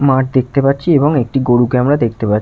মাঠ দেখতে পাচ্ছি এবং একটা গরুকে আমরা দেখতে পা--